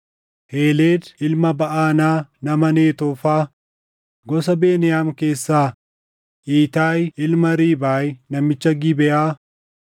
Heeled ilma Baʼanaa nama Netoofaa, gosa Beniyaam keessaa Iitaayi ilma Riibaay namicha Gibeʼaa,